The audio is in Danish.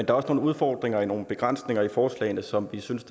er også nogle udfordringer og nogle begrænsninger i forslagene som vi synes